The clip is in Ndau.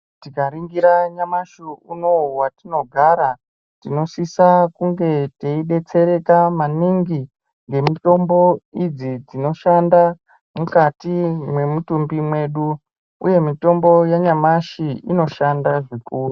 Tikaningira nyamashi unou watinogara tinosisa kunge teidetsereka maningi nemitombo idzi dzinoshanda mukati mwemitumbu mwedu uye mitombo yanyamashi inoshanda zvikuru.